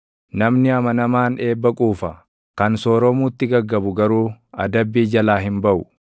Namni amanamaan eebba quufa; kan sooromuutti gaggabu garuu adabbii jalaa hin baʼu.